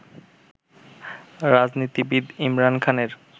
রাজনীতিবিদ ইমরান খানের